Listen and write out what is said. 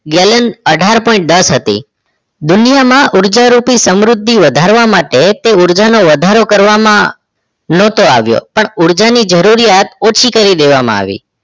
gallan અઠાર point દસ હતી દુનિયામાં ઉર્જા રૂપી સમૃદ્ધિ વધારવા માટે તે ઊર્જાનો વધારો કરવામાં નતો આવ્યો પણ ઊર્જાની જરૂરિયાત ઓછી કરી દેવામાં આવી